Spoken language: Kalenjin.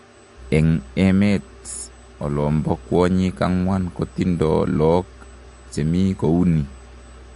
En emet olombo kwonyik angwan kotindo lok chemi kouni